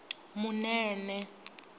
munene